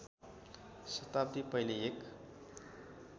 शताब्दी पहिले एक